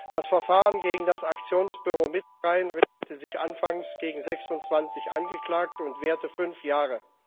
Das Verfahren gegen das Aktionsbüro Mittelrhein richtete sich anfangs gegen 26 Angeklagte und währte fünf Jahre.